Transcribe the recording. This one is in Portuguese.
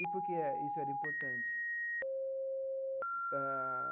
E por que isso era importante? Ah.